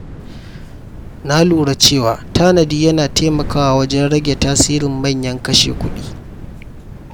Na lura cewa tanadi yana taimakawa wajen rage tasirin manyan kashe-kuɗi.